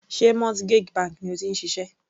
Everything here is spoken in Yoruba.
Sé mortgage bank ni o ti ń ṣiṣẹ́?